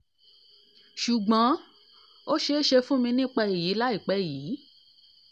sùgbọ́n ó ṣẹ̀ṣẹ̀ sọ fún mi nípa èyí láìpẹ́ yìí